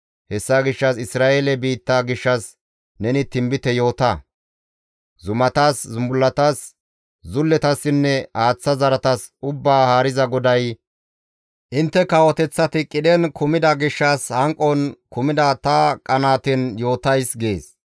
Hessa gishshas Isra7eele biitta gishshas neni tinbite yoota. Zumatas, zumbullatas, zulletassinne haaththa zaratas Ubbaa Haariza GODAY, ‹Intte kawoteththata qidhen intte kumida gishshas, hanqon kumida ta qanaaten yootays› gees.